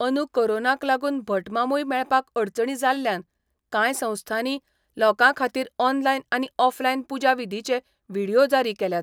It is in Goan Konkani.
अंदू कोरोनाक लागून भटमामूय मेळपाक अडचणी जाल्ल्यान कांय संस्थांनी लोकांखातीर ऑनलायन आनी ऑफलायन पुजा विधीचे व्हीडीओ जारी केल्यात.